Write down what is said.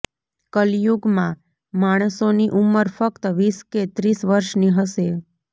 કાલિયુગમાં માણસોની ઉંમર ફક્ત વીસ કે ત્રીસ વર્ષની હશે